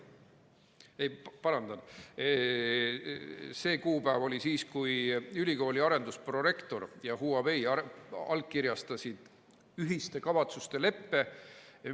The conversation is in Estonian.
Ei, parandan, see kuupäev oli siis, kui ülikooli arendusprorektor ja Huawei allkirjastasid ühiste kavatsuste leppe.